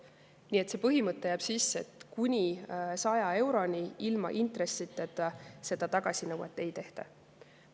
Nii et see põhimõte jääb sisse, et kuni 100 euroni ilma intressideta seda tagasinõuet ei tehta.